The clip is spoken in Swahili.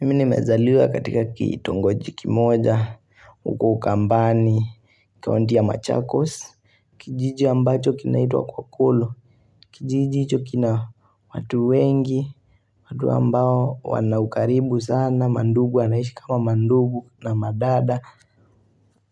Mimi nimezaliwa katika kitongoji kimoja huko ukambani kaunti ya machakos kijiji ambacho kinaitwa kwakolo kijiji hicho kina watu wengi watu ambao wanaukaribu sana mandugu wanaishi kama mandugu na madada